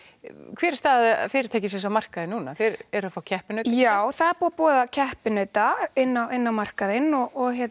hver er staða fyrirtækisins á markaðnum núna þeir eru að fá keppinauta já það er búið að boða keppinauta inn á inn á markaðinn og